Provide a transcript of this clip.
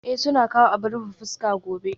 Ee, suna kawo abin rufe fuska gobe